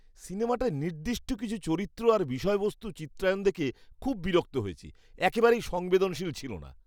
সিনেমাটায় নির্দিষ্ট কিছু চরিত্র আর বিষয়বস্তুর চিত্রায়ণ দেখে খুব বিরক্ত হয়েছি। একেবারেই সংবেদনশীল ছিল না!